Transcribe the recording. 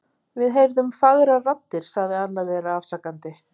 Við heyrðum fagrar raddir sagði annar þeirra afsakandi.